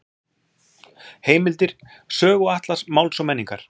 Heimildir: Söguatlas Máls og menningar.